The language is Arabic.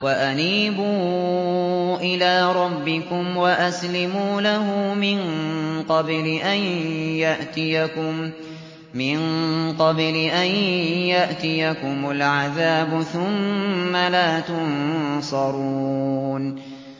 وَأَنِيبُوا إِلَىٰ رَبِّكُمْ وَأَسْلِمُوا لَهُ مِن قَبْلِ أَن يَأْتِيَكُمُ الْعَذَابُ ثُمَّ لَا تُنصَرُونَ